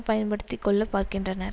பயன்படுத்தி கொள்ள பார்க்கின்றனர்